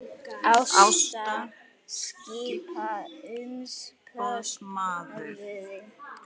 Ásta skipuð umboðsmaður